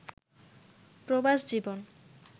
প্রবাস জীবন